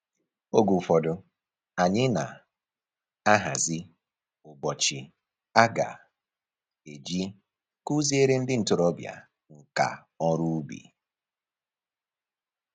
Oge ụfọdụ, anyị na-ahazi ụbọchị a ga-eji kụziere ndị ntoroọbịa nka ọrụ ubi